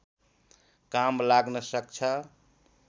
काम लाग्न सक्छ